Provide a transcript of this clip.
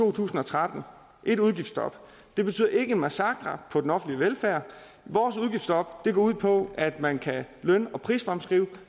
to tusind og tretten et udgiftsstop betyder ikke en massakre på den offentlige velfærd vores udgiftsstop går ud på at man kan løn og prisfremskrive